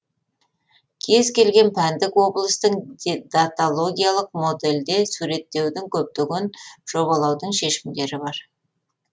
кез келген пәндік облыстың даталогиялық модельде суреттеудің көптеген жобалаудың шешімдері бар